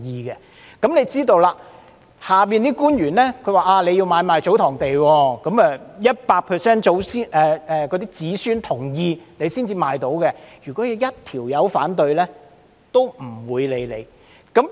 大家也知道，下面的官員會說，如要買賣祖堂地，必須取得 100% 子孫同意才能出售，只要有一人反對也不會受理。